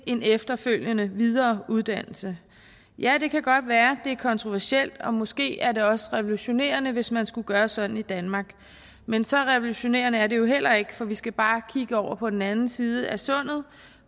en efterfølgende videre uddannelse ja det kan godt være det er kontroversielt og måske er det også revolutionerende hvis man skulle gøre sådan i danmark men så revolutionerende er det jo heller ikke for vi skal bare kigge over på den anden side af sundet